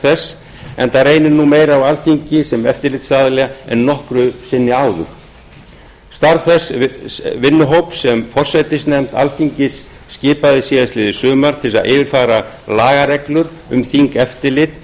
þess enda reynir nú meira á alþingi sem eftirlitsaðila en nokkru sinni áður starf þess vinnuhóps sem forsætisnefnd alþingis skipaði síðastliðið sumar til að yfirfara lagareglur um þingeftirlit